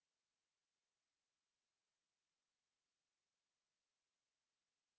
যদি ভাল bandwidth না থাকে তাহলে আপনি ভিডিওটি download করে দেখতে পারেন